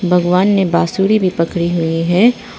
भगवान ने बांसुरी भी पड़ी हुई है।